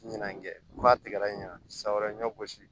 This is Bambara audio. Ɲinan kɛ ba tigɛla ɲina san wɛrɛ ɲɔ gosi